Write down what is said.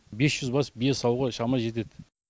бес жүз бас бие саууға шама жетеді